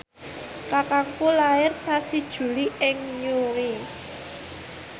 kakangku lair sasi Juli ing Newry